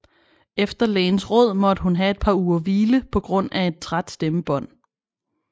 Efter lægens råd måtte hun have et par uger hvile på grund af et træt stemmebånd